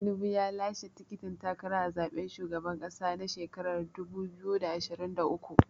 Tinubu ya lashe tikitin takara a zaɓen shugaban ƙasa na shekarar dubu biyu da ashirin da uku.